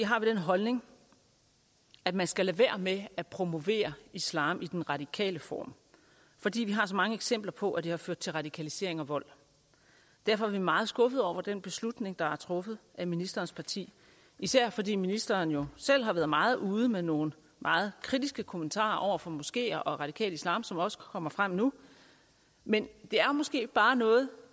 har vi den holdning at man skal lade være med at promovere islam i den radikale form fordi vi har så mange eksempler på at det har ført til radikalisering og vold derfor er vi meget skuffede over den beslutning der er truffet af ministerens parti især fordi ministeren jo selv har været meget ude med nogle meget kritiske kommentarer over for moskeer og radikal islam som også kommer frem nu men det er måske bare noget